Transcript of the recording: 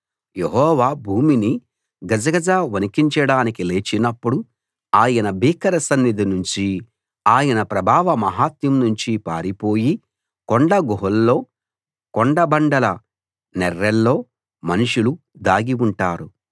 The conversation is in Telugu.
యెహోవా భూమిని గజగజ వణికించడానికి లేచినప్పుడు ఆయన భీకర సన్నిధి నుంచీ ఆయన ప్రభావ మహత్యం నుంచీ పారిపోయి కొండ గుహల్లో కొండ బండల నెర్రెల్లో మనుషులు దాగి ఉంటారు